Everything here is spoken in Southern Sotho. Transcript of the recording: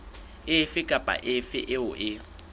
efe kapa efe eo e